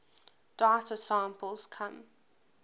data samples come